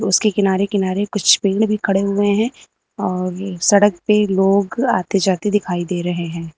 उसके किनारे किनारे कुछ पेड़ भी खड़े हुए हैं और सड़क पे लोग आते जाते दिखाई दे रहे हैं।